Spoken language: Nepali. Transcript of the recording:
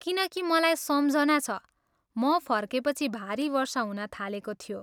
किनकि मलाई सम्झना छ, म फर्केपछि भारी वर्षा हुन थालेको थियो।